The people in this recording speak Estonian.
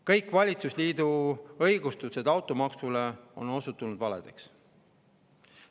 Kõik valitsusliidu õigustused automaksule on osutunud valeks.